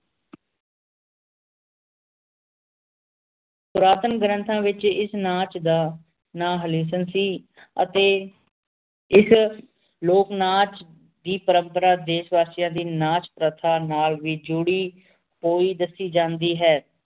ਪੁਰਾਤਨ ਗ੍ਰੰਥਾਂ ਵੇਚ ਇਸ ਨਾਚ ਦਾ ਨਾਂ ਸੀ ਅਤੇ ਇਸ ਲੋਕ ਨਾਚ ਦੀ ਪ੍ਰੰਪਰਾ ਦੇਸ਼ ਵਾਸੀਆਂ ਦੀ ਨਾਚ ਪ੍ਰਥਾ ਨਾਲ ਵੀ ਜੋੜਿ ਹੁਈ ਦਸੀ ਜਾਂਦੀ ਹੈ